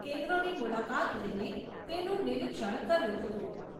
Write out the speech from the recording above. કેન્દ્રોની મુલાકાત લઈને તેનું નિરીક્ષણ કર્યું હતું.